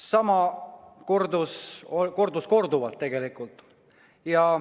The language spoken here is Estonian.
Seda juhtus tegelikult korduvalt.